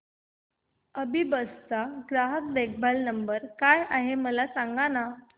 अभिबस चा ग्राहक देखभाल नंबर काय आहे मला सांगाना